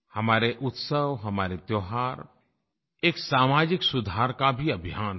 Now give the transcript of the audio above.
हमारे उत्सव हमारे त्योहार एक सामाजिक सुधार का भी अभियान हैं